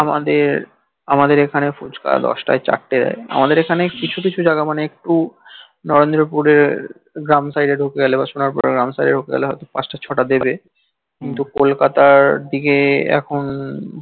আমাদের এখানে ফুচকা দস তাকাই চারতে দেই আমাদের এখানে কিছু কিছু জাইগা মানে একটু নরেন্দ্রা পুরের গ্রাম সাইডের ধুকে গেলে বা সোনার পুরের গ্রাম সাইডের দিকে ধুকে গেলে হইত দস তাকাই পাচতা ছতা দেবে কিন্তু kolkata র দিকে এখন